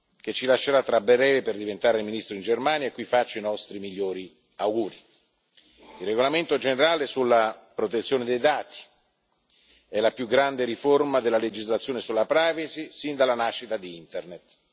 che ci lascerà tra breve per diventare ministro in Germania e a cui faccio i nostri migliori auguri. Il regolamento generale sulla protezione dei dati è la più grande riforma della legislazione sulla privacy sin dalla nascita di Internet.